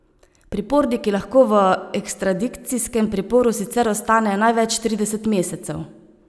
Priporniki lahko v ekstradikcijskem priporu sicer ostanejo največ trideset mesecev.